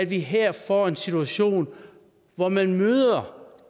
vi her får en situation hvor man møder